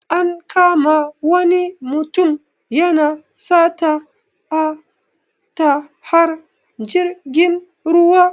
An kama wani mutum yana sata a tahar jirgin ruwa.